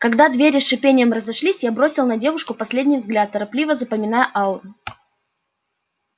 когда двери с шипением разошлись я бросил на девушку последний взгляд торопливо запоминая ауру